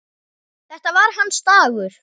Þetta var hans dagur.